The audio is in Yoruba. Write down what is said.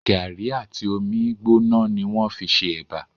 Gàrí àti omi gbóná ni wọ́n fí n ṣe ẹ̀bà